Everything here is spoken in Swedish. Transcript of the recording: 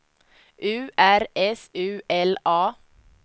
U R S U L A